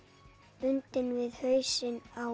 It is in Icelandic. bundin við hausinn á